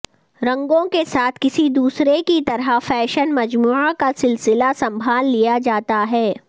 رنگوں کے ساتھ کسی دوسرے کی طرح فیشن مجموعہ کا سلسلہ سنبھال لیا جاتا ہے